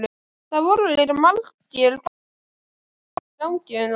Það voru líka margir góðir brandarar í gangi um það.